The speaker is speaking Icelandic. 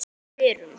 Ormi fyrrum.